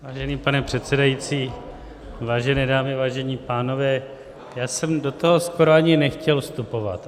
Vážený pane předsedající, vážené dámy, vážení pánové, já jsem do toho skoro ani nechtěl vstupovat.